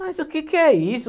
Mas o que que é isso?